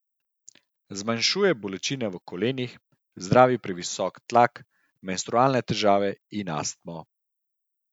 Zmanjšuje bolečine v kolenih, zdravi previsok krvni tlak, menstrualne težave in astmo.